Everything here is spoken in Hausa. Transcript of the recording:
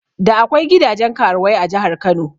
Da akwai gidajen karuwai a jahar Kano